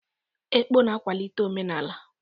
Ekpọ na-akwalite omenala.